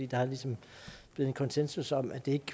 der er ligesom blevet en konsensus om at det